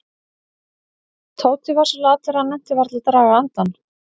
Tóti var svo latur að hann nennti varla að draga andann.